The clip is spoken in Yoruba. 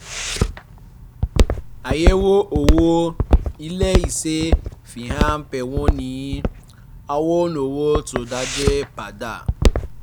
àyẹ̀wò owó ilé-iṣẹ́ fi hàn pé wọ́n ń yí àwọn owó tó jáde padà